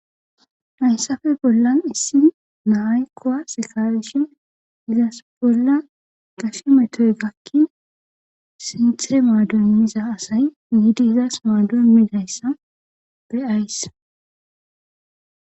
Hayssafe bollan issi naay kowa sekawishin gizas bolla gashe metoy gakkin sintire maadunmiza asay miidi izas maadunmidayssa be ays.